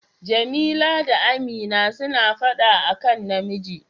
Jamila da Amina suna fada a kan namiji.